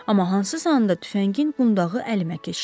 Amma hansısa anda tüfəngin qundağı əlimə keçdi.